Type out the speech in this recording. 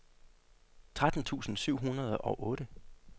tretten tusind syv hundrede og otte